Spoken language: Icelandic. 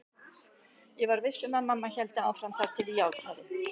Ég var viss um að mamma héldi áfram þar til ég játaði.